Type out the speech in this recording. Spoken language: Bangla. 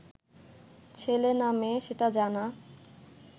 ছেলে না মেয়ে সেটা জানা